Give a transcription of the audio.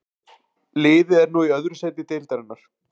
Liðið er nú í öðru sæti deildarinnar.